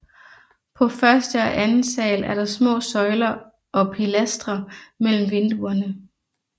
På første og anden sal er der små søjler og pilastre mellem vinduerne